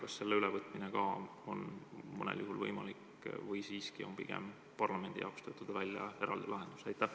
Kas selle ülevõtmine võiks olla mõnel juhul võimalik või siiski on parlamendi jaoks vaja välja töötada eraldi lahendus?